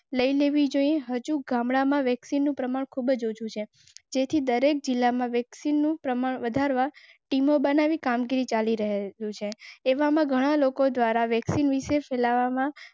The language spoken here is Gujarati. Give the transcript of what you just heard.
લેવી જોઇએ. હજુ ગામડામાં વેક્સિનનું પ્રમાણ ખૂબ જ ઓછું છે. તેથી દરેક જિલ્લામાં વેક્સિનનું પ્રમાણ વધારવા ટીમો બનાવી કામગીરી ચાલી રહી. એવામાં ઘણા લોકો દ્વારા વ્યક્તિવિશેષ.